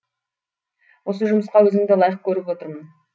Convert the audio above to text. осы жұмысқа өзіңді лайық көріп отырмын